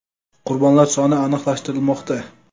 Qurbonlar soni aniqlashtirilmoqda.